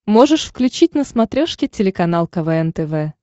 можешь включить на смотрешке телеканал квн тв